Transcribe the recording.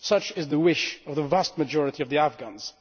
Such is the wish of the vast majority of the Afghans.